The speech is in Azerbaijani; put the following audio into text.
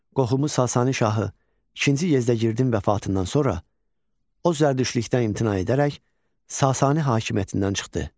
Qohumu Sasani şahı II Yezdəgirdin vəfatından sonra o zərdüştlükdən imtina edərək Sasani hakimiyyətindən çıxdı.